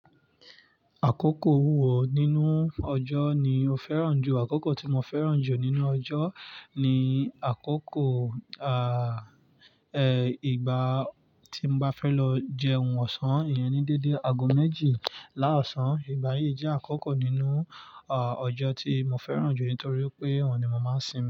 Àkókò wo nínú ọjọ́ ni o fẹ́ràn jù? Àkókò tí mo fẹ́ràn jù nínú ọjọ́ ni àkókò, ìgbà tí mo bá fẹ́ lọ jẹ ohun ọ̀sán, ìyẹn ni déédé agogo méjì láàsán. Ìgbà yìí jẹ́ àkókò nínú, ọjọ́ tí mo fẹ́ràn jù nítorí pé òun ni mo máa ń sinmi.